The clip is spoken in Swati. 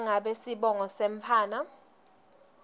nangabe sibongo semntfwana